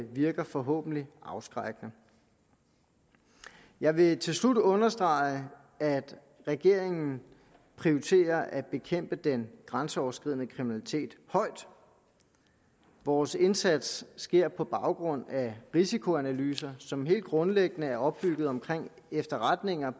virker forhåbentlig afskrækkende jeg vil til slut understrege at regeringen prioriterer at bekæmpe den grænseoverskridende kriminalitet højt vores indsats sker på baggrund af risikoanalyser som helt grundlæggende er opbygget omkring efterretninger